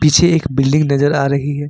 पीछे एक बिल्डिंग नजर आ रही है।